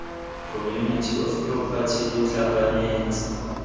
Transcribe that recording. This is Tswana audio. community of property lo tlhakanetse